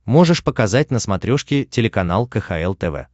можешь показать на смотрешке телеканал кхл тв